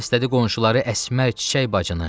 Səslədi qonşuları Əsmər, Çiçək bacısını.